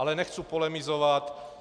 Ale nechci polemizovat.